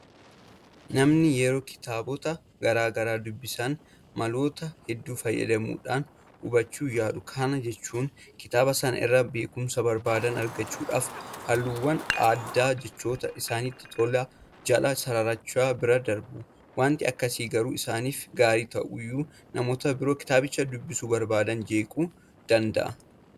Namoonni yeroo kitaabota garaa garaa dubbisan maloota hedduu fayyadamuudhaan hubachuu yaalu. Kana jechuun kitaaba sana irraa beekumsa barbaadan argachuudhaaf halluuwwan addaa jechoota isaanitti tole jala sararachuudhaan bira darbu. Waanti akkasii garuu isaaniif gaarii ta'uyyuu namoota biroo kitaabicha dubbisuu barbaadan jeequu danda'a.